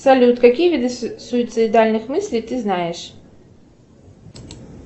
салют какие виды суицидальных мыслей ты знаешь